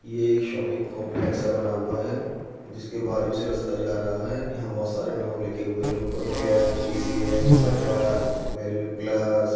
ये एक shopping complex सा बना हुआ है जिसके बाजु से रस्ता (रास्ता) जा रहा है| यहा बहोत (बोहोत) सारे नाम लिखे हुए हैं| उनपर air T C L Bajaj value plus --